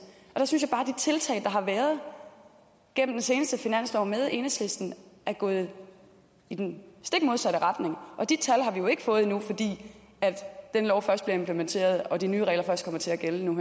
tiltag der har været gennem den seneste finanslov med enhedslisten er gået i den stik modsatte retning og de tal har vi jo ikke fået endnu fordi den lov først bliver implementeret og de nye regler først kommer til at gælde nu